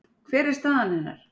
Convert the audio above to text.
Hver er staða hennar?